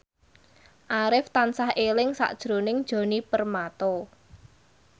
Arif tansah eling sakjroning Djoni Permato